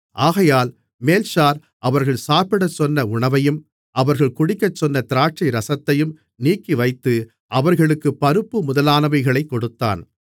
ஆகையால் மேல்ஷார் அவர்கள் சாப்பிடச்சொன்ன உணவையும் அவர்கள் குடிக்கச்சொன்ன திராட்சைரசத்தையும் நீக்கிவைத்து அவர்களுக்குப் பருப்பு முதலானவைகளைக் கொடுத்தான்